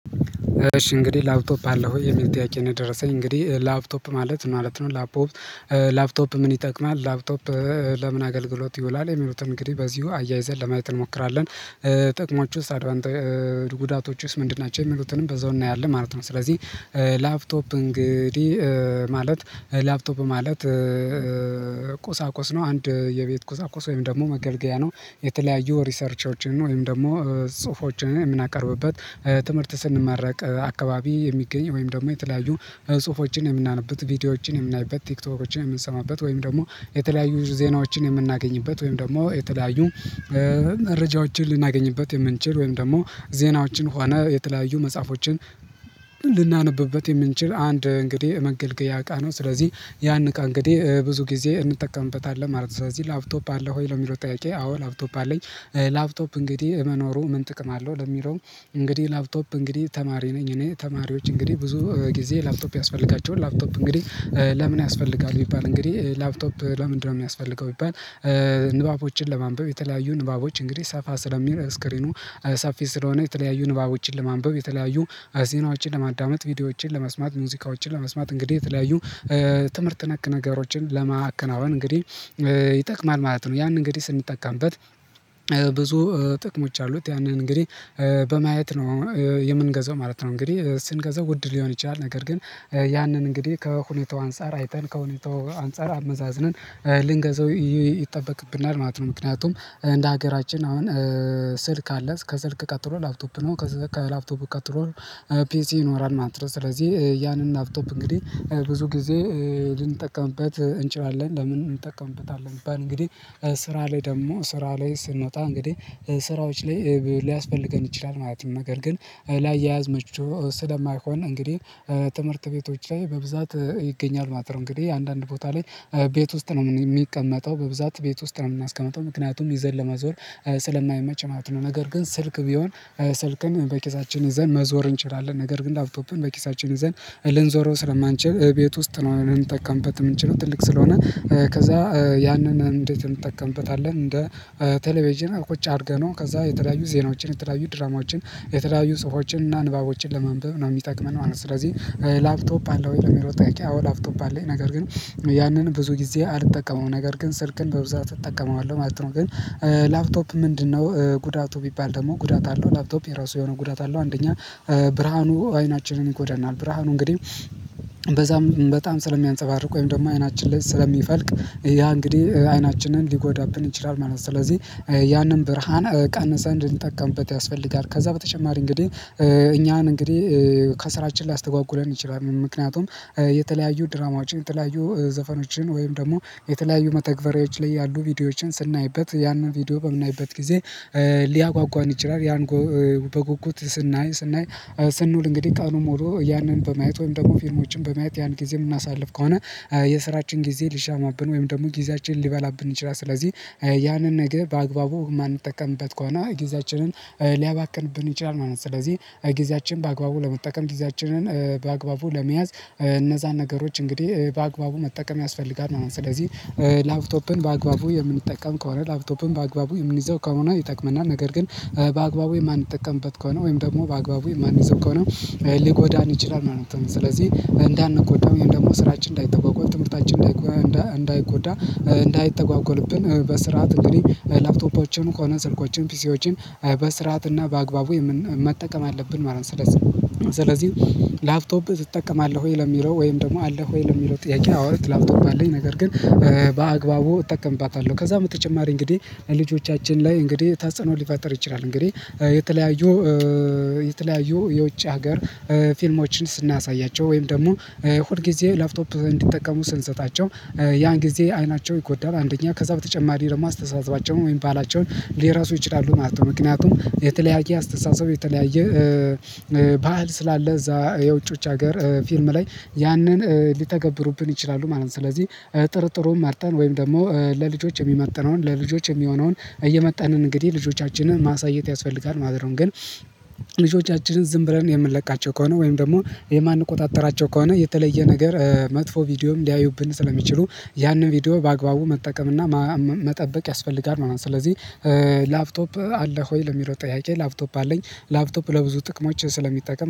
እሺ እንግዲህ ላፕቶፕ አለህ ወይ? የሚል ጥያቄ ነው የደረሰኝ። እንግዲህ ላፕቶፕ ማለት ማለት ነው ላፕቶፕ ምን ይጠቅማል? ላፕቶፕ ለምን አገልግሎት ይውላል? የሚሉትን እንግዲህ በዚሁ አያይዘን ለማየት እንሞክራለን። ጥቅሞዎቹስ አድቫንት ጉዳቶዎቹስ ምንድን ናቸው? የሚሉትንም በዛው እናያለን ማለት ነው። ስለዚህ ላፕቶፕ እንግዲህ ማለት ላፕቶፕ ማለት ቁሳቁስ ነው። አንድ የቤት ቁሳቁስ ወይም ደግሞ መገልገያ ነው። የተለያዩ ሪሰርቾችን ወይም ደግሞ ጽሁፎችን የምናቀርብበት ትምህርት ስንመረቅ አካባቢ የሚገኝ ወይም ደግሞ የተለያዩ ጽሁፎችን የምናነብበት ቪዲዮዎችን የምናይበት ቲክቶኮችን የምንሰማበት ወይም ደግሞ የተለያዩ ዜናዎችን የምናገኝበት ወይም ደግሞ የተለያዩ መረጃዎችን ልናገኝበት የምንችል ወይም ደግሞ ዜናዎችን ሆነ የተለያዩ መጽሐፎችን ልናነብበት የምንችል አንድ እንግዲህ መገልገያ እቃ ነው። ስለዚህ ያን እቃ እንግዲህ ብዙ ጊዜ እንጠቀምበታለን ማለት ነው። ስለዚህ ላፕቶፕ አለ ወይ? ለሚለው ጥያቄ አዎ ላፕቶፕ አለኝ። ላፕቶፕ እንግዲህ መኖሩ ምን ጥቅም አለው ለሚለው እንግዲህ ላፕቶፕ እንግዲህ ተማሪ ነኝ እኔ። ተማሪዎች እንግዲህ ብዙ ጊዜ ላፕቶፕ ያስፈልጋቸዋል። ላፕቶፕ እንግዲህ ለምን ያስፈልጋል ቢባል እንግዲህ ላፕቶፕ ለምንድነው የሚያስፈልገው ቢባል ንባቦችን ለማንበብ። የተለያዩ ንባቦች እንግዲህ ሰፋ ስለሚል ስክሪኑ ሰፊ ስለሆነ የተለያዩ ንባቦችን ለማንበብ። የተለያዩ ዜናዎችን ለማዳመጥ። ቪዲዮዎችን ለመስማት። ሙዚቃዎችን ለመስማት። እንግዲህ የተለያዩ ትምህርት ነክ ነገሮችን ለማከናወን እንግዲህ ይጠቅማል ማለት ነው። ያንን እንግዲህ ስንጠቀምበት ብዙ ጥቅሞች አሉት ያንን እንግዲህ በማየት ነው የምንገዛው ማለት ነው። እንግዲህ ስንገዛው ውድ ሊሆን ይችላል። ነገር ግን ያንን እንግዲህ ከሁኔታው አንፃር አይተን ከሁኔታው አንፃር አመዛዝነን ልንገዛው ይጠበቅብናል ማለት ነው። ምክንያቱም እንደ ሀገራችን አሁን ስልክ አለ ከስልክ ቀጥሎ ላፕቶፕ ነው። ከላፕቶፕ ቀጥሎ ፒሲ ይኖራል ማለት ነው። ስለዚህ ያንን ላፕቶፕ እንግዲህ ብዙ ጊዜ ልንጠቀምበት እንችላለን። ለምን እንጠቀምበታለን ቢባል እንግዲህ ስራ ላይ ደግሞ ስራ ላይ ስንወጣ እንግዲህ ስራዎች ላይ ሊያስፈልገን ይችላል ማለት ነው። ነገር ግን ለአያያዝ ምቹ ስለማይሆን እንግዲህ ትምህርት ቤቶች ላይ በብዛት ይገኛል ማለት ነው። እንግዲህ አንድአንድ ቦታ ላይ ቤት ውስጥ ነው የሚቀመጠው በብዛት ቤት ውስጥ ነው የምናስቀምጠው። ምክንያቱም ይዘን ለመዞር ስለማይመች ማለት ነው። ነገር ግን ስልክ ቢሆን ስልክን በኪሳችን ይዘን መዞር እንችላለን። ነገር ግን ላፕቶፕን በኪሳችን ይዘን ልንዞረው ስለማንችል ቤት ውስጥ ነው ልንጠቀምበት የምንችለው። ትልቅ ስለሆነ ከዛ ያንን እንዴት እንጠቀምበታለን እንደ ቴሌቬጅን ቁጭ አድርገነው ከዛ የተለያዩ ዜናዎችን፣ የተለያዩ ድራማዎችን፣ የተለያዩ ፁሑፎዎችን እና ንባቦችን ለማንበብ ነው የሚጠቅመን ማለት ነው። ስለዚህ ላፕቶፕ አለህ ወይ? ለሚለው ጥያቄ አዎ ላፕቶፕ አለኝ። ነገር ግን ያንን ብዙ ጊዜ አልጠቀመውም። ነገር ግን ስልክን በብዛት እጠቀመዋለሁ ማለት ነው። ግን ላፕቶፕ ምንድነው ጉዳቱ? ቢባል ደግሞ ጉዳት አለው። ላፕቶፕ የራሱ የሆነ ጉዳት አለው። አንደኛ ብርሃኑ አይናችንን ይጎዳናል። ብርሃኑ እንግዲህ በዛም በጣም ስለሚያንጸባርቅ ወይም ደግሞ አይናችን ላይ ስለሚፈልቅ ያ እንግዲህ አይናችንን ሊጎዳብን ይችላል ማለት ነው። ስለዚህ ያንን ብርሃን ቀንሰን ልንጠቀምበት ያስፈልጋል። ከዛ በተጨማሪ እንግዲህ እኛን እንግዲህ ከስራችን ሊያስተጓጉለን ይችላል። ምክንያቱም የተለያዩ ድራማዎችን፣ የተለያዩ ዘፈኖችን ወይም ደግሞ የተለያዩ መተግበሪያዎች ላይ ያሉ ቪዲዮዎችን ስናይበት ያንን ቪዲዮ በምናይበት ጊዜ ሊያጓጓን ይችላል። ያን በጉጉት ስናይ ስናይ ስንውል እንግዲህ ቀኑን ሙሉ ያንን በማየት ወይም ደግሞ ፊልሞችን በማየት ያን ጊዜ የምናሳልፍ ከሆነ የስራችን ጊዜ ሊሻማብን ወይም ደግሞ ጊዜያችንን ሊበላብን ይችላል። ስለዚህ ያንን ነገር በአግባቡ የማንጠቀምበት ከሆነ ጊዜያችንን ሊያባክንብን ይችላል ማለት ነው። ስለዚህ ጊዜያችንን በአግባቡ ለመጠቀም ጊዜያችንን በአግባቡ ለመያዝ እነዛን ነገሮች እንግዲህ በአግባቡ መጠቀም ያስፈልጋል ማለት ነው። ስለዚህ ላፕቶፕን በአግባቡ የምንጠቀም ከሆነ ላፕቶፕን በአግባቡ የምንይዘው ከሆነ ይጠቅመናል። ነገር ግን በአግባቡ የማንጠቀምበት ከሆነ ወይም ደግሞ በአግባቡ የማንይዘው ከሆነ ሊጎዳን ይችላል ማለት ነው። ስለዚህ እንዳንጎዳ ወይም ደግሞ ስራችን እንዳይተጓጎል። ትምህርታችን እንዳይጎዳ እንዳይተጓጎልብን በስርዓት እንግዲህ ላፕቶፖዎችን ሆነ ስልኮችን ፒሲዎችን በስርዓት በስርዓት እና በአግባቡ መጠቀም አለብን ማለት ነው። ስለዚህ ስለዚህ ላፕቶፕ ትጠቀማለህ ወይ? ለሚለው ወይም ደግሞ አለህ ወይ? ለሚለው ጥያቄ አዎ ላፕቶፕ አለኝ። ነገር ግን በአግባቡ እጠቀምባታለሁ። ከዛም በተጨማሪ እንግዲህ ልጆቻችን ላይ እንግዲህ ተጽኖ ሊፈጥር ይችላል። እንግዲህ የተለያዩ የተለያዩ የውጭ ሀገር ፊልሞችን ስናሳያቸው ወይም ደግሞ ሁል ጊዜ ላፕቶፕ እንዲጠቀሙ ስንሰጣቸው ያን ጊዜ አይናቸው ይጎዳል። አንደኛ ከዛ በተጨማሪ ደግሞ አስተሳሰባቸውን ወይም ደግሞ ባህላቸውን ሊረሱ ይችላሉ ማለት ነው። ምክንያቱም የተለያየ አስተሳሰብ የተለያየ ባህል ስላለ እዛ የውጪዎች ሀገር ፊልም ላይ ያንን ሊተገብሩብን ይችላሉ ማለት ነው። ስለዚህ ጥሩጥሩን መርጠን ወይም ደግሞ ለልጆች የሚመጥነውን ለልጆች የሚሆነውን እየመጠንን እንግዲህ ልጆቻችንን ማሳየት ያስፈልጋል ማለት ነው። ግን ልጆቻችንን ዝም ብለን የምንለቃቸው ከሆነ ወይም ደግሞ የማንቆጣጠራቸው ከሆነ የተለየ ነገር መጥፎ ቪዲዮም ሊያዩብን ስለሚችሉ ያንን ቪዲዮ በአግባቡ መጠቀም እና መጠበቅ ያስፈልጋል ማለት ነው። ስለዚህ ላፕቶፕ አለ ሆይ? ለሚለው ጥያቄ ላፕቶፕ አለኝ ላፕቶፕ ለብዙ ጥቅሞች ስለሚጠቅም